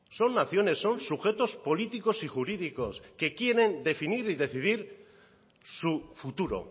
son naciones son sujetos políticos y jurídicos que quieren definir y decidir su futuro